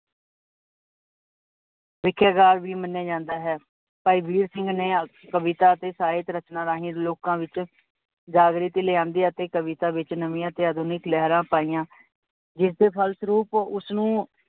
ਸਿੱਖਿਆਕਾਰ ਵੀ ਮਨਿਆ ਜਾਂਦਾ ਹੈ, ਭਾਈ ਵੀਰ ਸਿੰਘ ਨੇ ਕਵਿਤਾ ਅਤੇ ਸਾਹਿਤ ਰਚਨਾਂ ਰਾਹੀਂ ਲੋਕ ਵਿੱਚ ਜਾਗ੍ਰਿਤੀ ਲਿਆਉਂਦੀ ਅਤੇ ਕਵਿਤਾ ਵਿੱਚ ਨਵਿਆ ਤੇ ਆਧੁਨਿਕ ਲਿਹਰ ਪਾਈਆ, ਜਿਸਦੇ ਫਲਸਰੂਪ ਉਸਨੂੰ